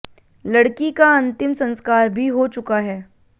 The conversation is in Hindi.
लड़की का अंतिम संस्कार भी हो चुका है